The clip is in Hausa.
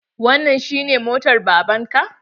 Wannan shi ne motar baban ka?